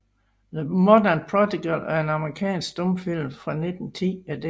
The Modern Prodigal er en amerikansk stumfilm fra 1910 af D